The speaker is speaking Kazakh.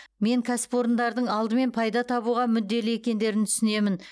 мен кәсіпорындардың алдымен пайда табуға мүдделі екендерін түсінемін